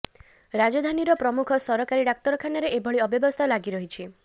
ରାଜଧାନୀର ପ୍ରମୁଖ ସରକାରୀ ଡାକ୍ତରଖାନରେ ଏଭଳି ଅବ୍ୟବସ୍ଥା ଲାଗି ରହିଛି